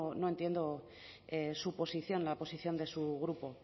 no entiendo su posición la posición de su grupo